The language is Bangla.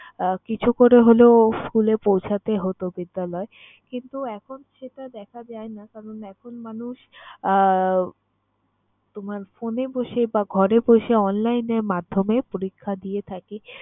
আহ কিছু করে হলেও school এ পৌঁছাতে হতো বিদ্যালয়ে কিন্তু এখন সেটা দেখা যায় না। কারণ এখন মানুষ আহ তোমার phone এ বসে বা ঘরে বসে online এর মাধ্যমে পরীক্ষা দিয়ে থাকে।